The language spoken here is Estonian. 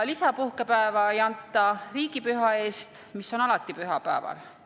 Lisapuhkepäeva ei anta riigipüha eest, mis on alati pühapäeval.